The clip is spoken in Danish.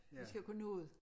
Vi skal jo kunne nå det